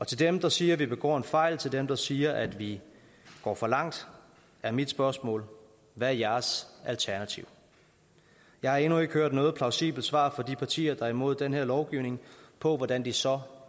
til dem der siger vi begår en fejl til dem der siger at vi går for langt er mit spørgsmål hvad er jeres alternativ jeg har endnu ikke hørt noget plausibelt svar fra de partier der er imod den her lovgivning på hvordan de så